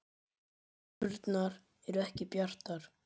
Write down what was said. Horfurnar eru ekki bjartar